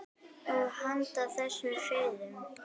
Og handan þess: friður.